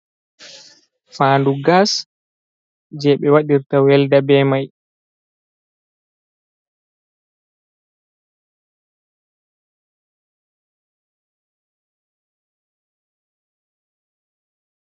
faandu gas, je be wadirta welda be mai.